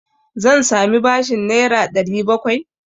Zan sami bashin Naira 700?